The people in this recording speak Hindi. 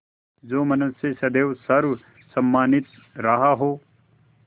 जो मनुष्य सदैव सर्वसम्मानित रहा हो